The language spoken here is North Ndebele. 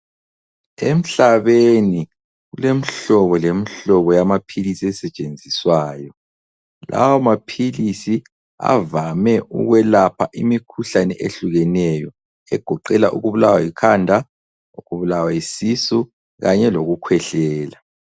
Emhlabeni kulemihlobo lemihlobo yamaphilisi esetshenziswayo, lawa maphilisi avame ukwelapha imikhuhlane ehlukeneyo , egoqela ukubulawa yikhanda ukubulawa yisisu kanye loku khwehlela.